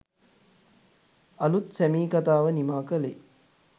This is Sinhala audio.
අලුත් 'සැමී' කතාව නිමා කළේ